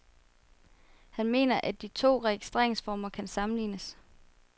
Han mener, at de to registreringsformer kan sammenlignes.